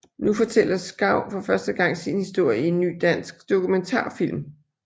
Nu fortæller Schau for første gang sin historie i en ny dansk dokumentarfilm